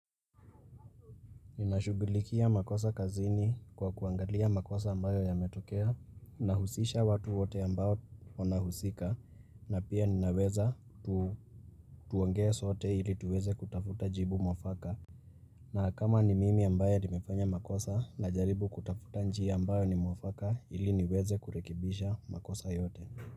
Ninashugulikia makosa kazini kwa kuangalia makosa ambayo yametokea Nahusisha watu wote ambao wanahusika na pia ninaweza ku tuongee sote ili tuweze kutafuta jibu mwafaka na kama ni mimi ambaye nimefanya makosa najaribu kutafuta njia ambayo ni mwafaka ili niweze kurekebisha makosa yote.